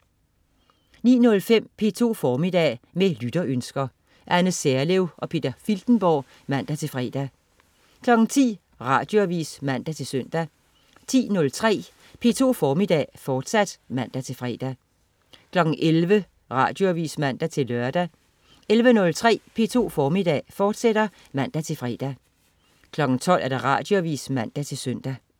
09.05 P2 Formiddag. Med lytterønsker. Anne Serlev og Peter Filtenborg (man-fre) 10.00 Radioavis (man-søn) 10.03 P2 Formiddag, fortsat (man-fre) 11.00 Radioavis (man-lør) 11.03 P2 Formiddag, fortsat (man-fre) 12.00 Radioavis (man-søn)